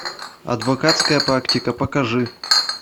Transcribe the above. адвокатская практика покажи